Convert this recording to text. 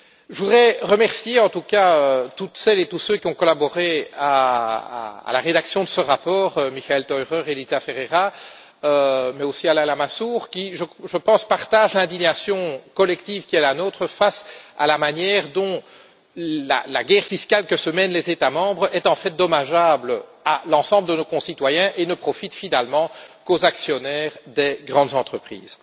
Je voudrais remercier en tout cas, toutes celles et tous ceux qui ont collaboré à la rédaction de ce rapport, Elisa Ferreira, Michael Theurer, mais aussi Alain Lamassoure qui, je pense, partagent l'indignation collective qui est la nôtre, face à la manière dont la guerre fiscale que se mènent les États membres est en fait dommageable à l'ensemble de nos concitoyens et ne profite finalement qu'aux actionnaires des grandes entreprises.